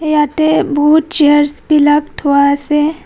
ইয়াতে বহুত চেয়ৰচ বিলাক থোৱা আছে.